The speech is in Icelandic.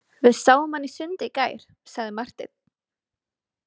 Við sáum hann í sundi í gær, sagði Marteinn.